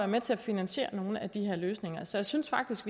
med til at finansiere nogle af de her løsninger så jeg synes faktisk